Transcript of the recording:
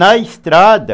Na estrada,